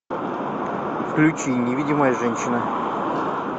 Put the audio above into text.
включи невидимая женщина